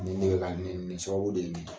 Nin de bɛ ka nin nin sababu de ye nin ye